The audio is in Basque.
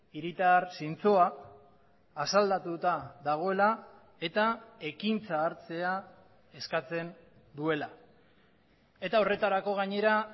hiritar zintzoa asaldatuta dagoela eta ekintza hartzea eskatzen duela eta horretarako gainera